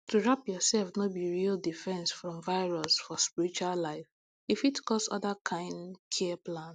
to wrap yourself no be real defense from virus for spiritual life e fit cause other kind care plan